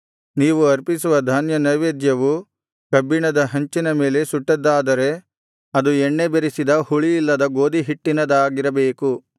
ನೀವು ಅರ್ಪಿಸುವ ಧಾನ್ಯ ನೈವೇದ್ಯವು ಕಬ್ಬಿಣದ ಹಂಚಿನ ಮೇಲೆ ಸುಟ್ಟದ್ದಾದರೆ ಅದು ಎಣ್ಣೆ ಬೆರಸಿದ ಹುಳಿಯಿಲ್ಲದ ಗೋದಿಹಿಟ್ಟಿನದಾಗಿರಬೇಕು